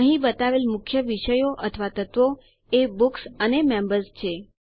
અહીં બતાવેલ મુખ્ય વિષયો અથવા તત્વો એ બુક્સ અને મેમ્બર્સ છે